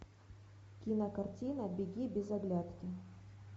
кинокартина беги без оглядки